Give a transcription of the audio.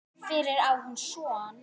Fyrir á hún son.